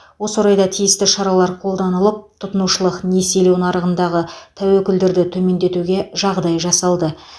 осы орайда тиісті шаралар қолданылып тұтынушылық несиелеу нарығындағы тәуекелдерді төмендетуге жағдай жасалды